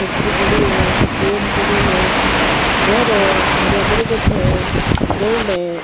सब्जी पड़ी है कैन पड़े है घर है हरया दरकत है बोर्ड है।